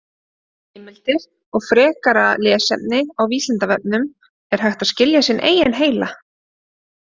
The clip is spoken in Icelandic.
Heimildir og frekara lesefni á Vísindavefnum: Er hægt að skilja sinn eigin heila?